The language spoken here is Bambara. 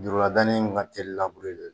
Duguladani in ka teli labure